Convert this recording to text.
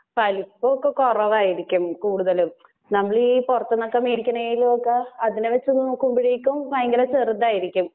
വലിപ്പൊക്കെ കുറവായിരിക്കും കൂടുതലും. നമ്മളീ പൊറത്തൂന്നൊക്കെ മേടിക്കണേലും ഒക്കെ അതിനകത്ത് നോക്കുമ്പോഴേക്കും ഭയങ്കര ചെറുതായിരിക്കും.